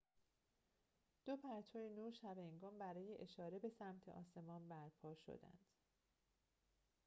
دو پرتو نور شب‌هنگام برای اشاره به سمت آسمان برپا شدند